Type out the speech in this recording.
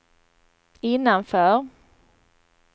innanför